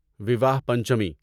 وواہ پنچمی